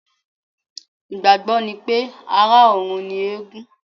Ìgbàgbọ́ ni pé, ará-ọ̀run ni eégún